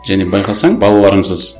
және байқасаң